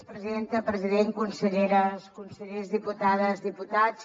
president conselleres consellers diputades diputats